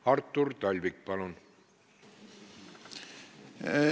Artur Talvik, palun!